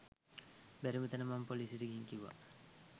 බැරිම තැන මම පොලිසියට ගිහින් කිව්වා